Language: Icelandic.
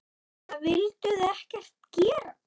Eða vildu þau ekkert gera?